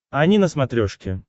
ани на смотрешке